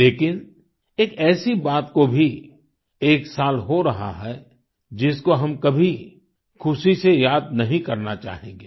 लेकिन एक ऐसी बात को भी एक साल हो रहा है जिसको हम कभी खुशी से याद नहीं करना चाहेंगे